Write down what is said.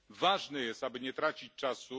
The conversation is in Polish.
Ważne jest, aby nie tracić czasu.